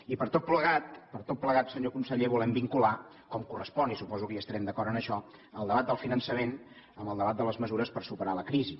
i per tot plegat per tot plegat senyor conseller volem vincular com correspon i suposo que hi estarem d’acord en això el debat del finançament amb el debat de les mesures per superar la crisi